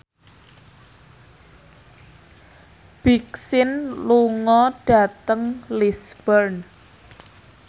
Big Sean lunga dhateng Lisburn